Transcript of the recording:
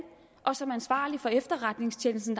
og som ansvarlig for efterretningstjenesten